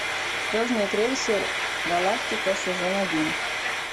звездный крейсер галактика сезон один